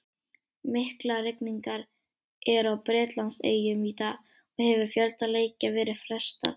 Miklar rigningar eru á Bretlandseyjum í dag og hefur fjölda leikja verið frestað.